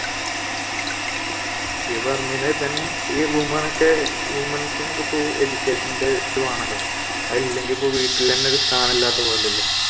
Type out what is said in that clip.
ഈ women ഒക്കെ women's ന് ഒക്കെ education ന്റെ ഇത് വേണമെല്ലോ അതില്ലെങ്കിൽ ഇപ്പൊ വീട്ടിൽ തന്നെ സ്ഥാനമില്ലാത്ത പോലെയല്ലേ